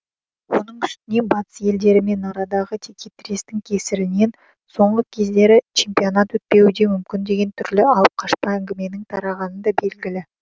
оның үстіне батыс елдерімен арадағы текетірестің кесірінен соңғы кездері чемпионат өтпеуі де мүмкін деген түрлі алыпқашпа әңгіменің тарағаны да белгілі